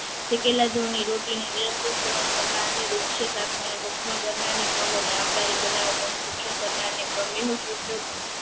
શેકેલા જવની રોટલી ને નિયંત્રિત સેવન કરનારને મગ અને આમળાની બનાવેલ